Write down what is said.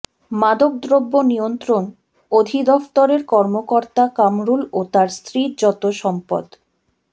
মাদকদ্রব্য নিয়ন্ত্রণ অধিদফতরের কর্মকর্তা কামরুল ও তার স্ত্রীর যত সম্পদ